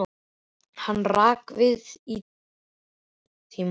Hann rak við í tíma og ótíma.